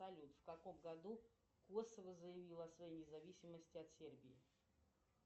салют в каком году косово заявило о своей независимости от сербии